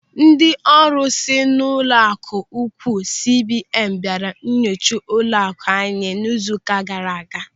Ndị ọrụ si n'ụlọaku ukwuu CBN bịara inyocha ụlọaku anyị n'izu ụka gaara aga.